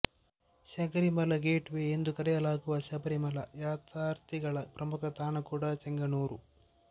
ಶೆಗರಿಮಲ gateway ಎಂದು ಕರೆಯಲಾಗುವ ಶಬರಿಮಲ ಯಾತ್ರಾರ್ಥಿಗಳ ಪ್ರಮುಖ ತಾಣ ಕೂಡ ಚೆಂಗನೂರು